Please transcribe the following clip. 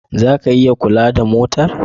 Za ku iya kula da motar?